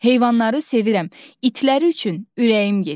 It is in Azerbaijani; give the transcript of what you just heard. Heyvanları sevirəm, itləri üçün ürəyim gedir.